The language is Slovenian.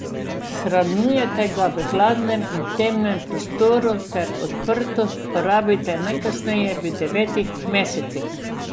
Shranjujte ga v hladnem in temnem prostoru ter odprto porabite najkasneje v devetih mesecih.